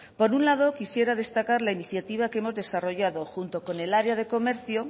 por un lado quisiera destacar la iniciativa que hemos desarrollado junto con el área comercio